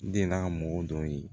Den na mɔgɔ dɔ ye